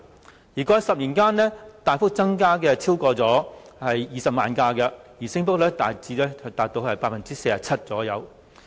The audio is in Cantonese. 私家車過去10年間大幅增加超過20萬輛，升幅達 47% 左右。